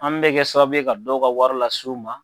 An bɛɛ kɛ sababu ye ka dɔw ka wari lasiw ma.